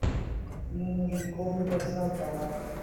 мне нужен корм для собак